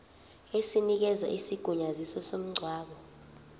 esinikeza isigunyaziso somngcwabo